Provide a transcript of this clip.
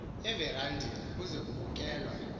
everandeni kuze kubukelwa